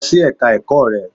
Lọ sí Ẹ̀ka ẹ̀kọ́ rẹ!